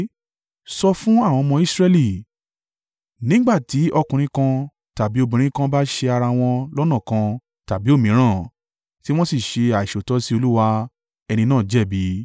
“Sọ fún àwọn ọmọ Israẹli: ‘Nígbà tí ọkùnrin kan tàbí obìnrin kan bá ṣẹ̀ ara wọn lọ́nà kan tàbí òmíràn, tí wọ́n sì ṣe àìṣòótọ́ sí Olúwa, ẹni náà jẹ̀bi.